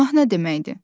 Günah nə deməkdir?